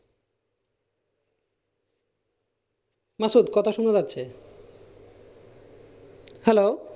মাসুদ কথা শোনা যাচ্ছে hello